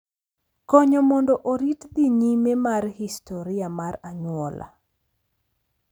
Konyo mondo orit dhi nyime mar historia mar anyuola